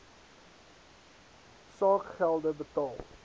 saak gelde betaal